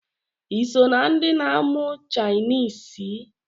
Iso na ndi na-amụ chainisi?